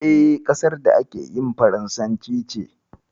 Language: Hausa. E, ƙasar da ake harshen faransanci ce.